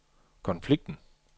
konflikten